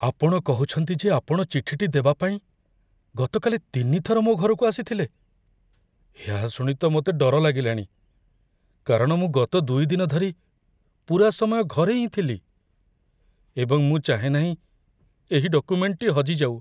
ଆପଣ କହୁଛନ୍ତି ଯେ ଆପଣ ଚିଠିଟି ଦେବାପାଇଁ ଗତକାଲି ତିନି ଥର ମୋ ଘରକୁ ଆସିଥିଲେ, ଏହା ଶୁଣି ତ ମୋତେ ଡର ଲାଗିଲାଣି, କାରଣ ମୁଁ ଗତ ଦୁଇ ଦିନ ଧରି ପୂରା ସମୟ ଘରେ ହିଁ ଥିଲି, ଏବଂ ମୁଁ ଚାହେଁ ନାହିଁ ଏହି ଡକ୍ୟୁମେଣ୍ଟଟି ହଜିଯାଉ।